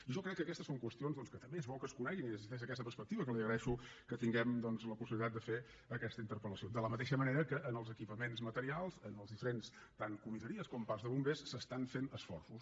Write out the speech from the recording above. i jo crec que aquestes són qüestions doncs que també és bo que es coneguin i és des d’aquesta perspectiva que li agraeixo que tinguem la possibilitat de fer aquesta interpel·lació de la mateixa manera que en els equipaments materials en els diferents tant comissaries com parcs de bombers s’estan fent esforços